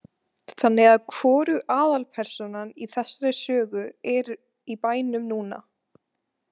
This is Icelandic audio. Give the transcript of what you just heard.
Þannig að hvorug aðalpersónan í þessari sögu er í bænum núna?